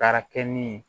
Baara kɛ min ye